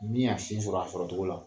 Min y'a sin sɔrɔ a sɔrɔcogo la.